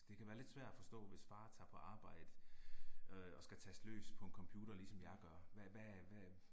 Det kan være lidt svær at forstå hvis far tager på arbejde øh og skal taste løs på en computer ligesom jeg gør, hvad hvad hvad